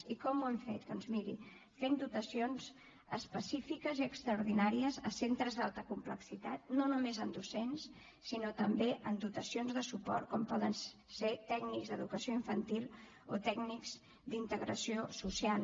i com ho hem fet doncs miri fent dotacions específiques i extraordinàries a centres d’alta complexitat no només en docents sinó també en dotacions de suport com poden ser tècnics d’educació infantil o tècnics d’integració social